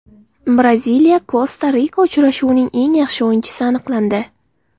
BraziliyaKosta-Rika uchrashuvining eng yaxshi o‘yinchisi aniqlandi.